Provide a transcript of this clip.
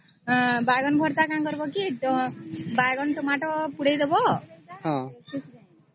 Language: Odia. ହଁ ବାଇଗଣ ଭର୍ତ୍ତା କଣ କରିବା କି ବାଇଗଣ ଟମାଟୋ ପୋଡି ଦବ